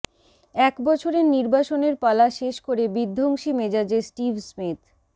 এক বছরের নির্বাসনের পালা শেষ করে বিধ্বংসী মেজাজে স্টিভ স্মিথ